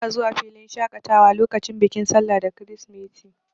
Bana zuwa filin shaƙatawa lokacin bikin sallah da kirisimeti.